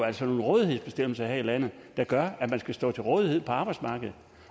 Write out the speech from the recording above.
altså nogle rådighedsbestemmelser her i landet der gør at man skal stå til rådighed for arbejdsmarkedet